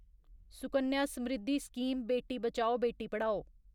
Sukanya Samriddhi scheme Beti Bachao Beti Padhao